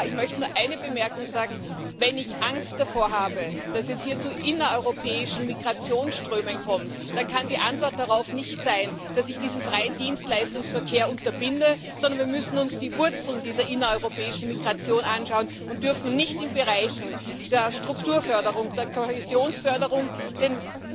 Aber ich möchte noch eine Bemerkung äußern Wenn ich Angst davor habe, dass es hier zu innereuropäischen Migrationsströmen kommt, dann kann die Antwort darauf nicht sein, dass ich diesen freien Dienstleistungsverkehr unterbinde, sondern wir müssen uns die Wurzeln dieser innereuropäischen Migration anschauen und dürfen nicht in Bereichen der Strukturförderung oder der Kohäsionsförderung den